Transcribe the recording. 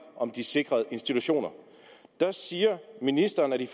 om de sikrede institutioner siger ministeren at i